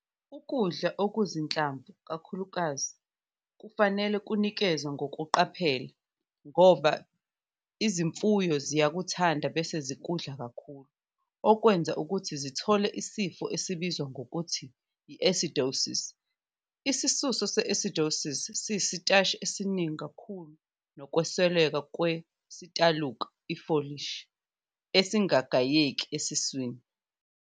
Ukudla okuzinhlamvu kakhulukazi kufanele kunikezwe ngokuqaphela ngoba izimfuyo ziyakuthanda bese zikudla kakhulu okwenza ukuthi zithole isifo esibizwa ngokuthi i-'acidosis'. Isisuso se-'acidosis' siyisitashi esiningi kakhulu nokwesweleka kwesitaluka, ifolishi, esingagayeki esisweni.